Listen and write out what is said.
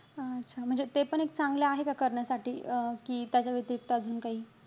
अच्छा. म्हणजे ते पण एक चांगलं आहे का करण्यासाठी? अं कि त्याच्या व्यतिरिक्त अजून काही?